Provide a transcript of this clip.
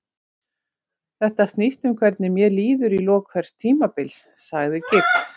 Þetta snýst um hvernig mér líður í lok hvers tímabils, sagði Giggs.